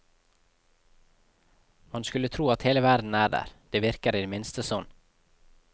Man skulle tro at hele verden er der, det virker i det minste sånn.